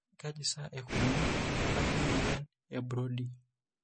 Kaji sa eikoni tenebaki emuoyian eBrody?